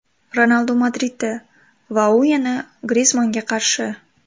Ronaldu Madridda va u yana Grizmannga qarshi.